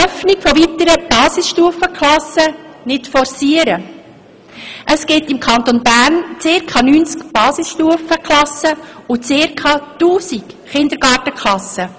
Zur Basisstufe: Es gibt im Kanton Bern zirka 90 Basisstufenklassen und zirka 1000 Kindergartenklassen.